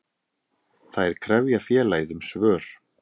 Þær krefja félagið um svör.